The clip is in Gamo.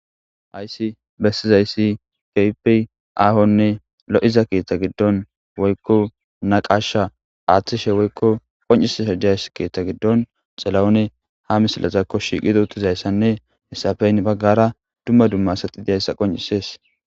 Hayssi bessizayssi kehipe aahonne lo7iza keeththa giddon woykko na qasha aaththishe woykko qoncises hajayss keeththa giddon xilaone ha misilazakko shiiqido tizayssanne hessafeyn baggara dumma dumma saxi diyayssa qoncisees